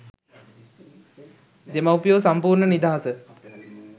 දෙමව්පියෝ සම්පූර්ණ නිදහස.